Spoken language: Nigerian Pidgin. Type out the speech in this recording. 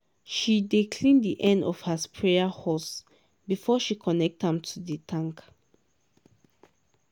she dey clean di end of her sprayer hose before she connect am to di tank.